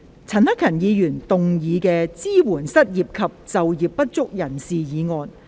陳克勤議員動議的"支援失業及就業不足人士"議案。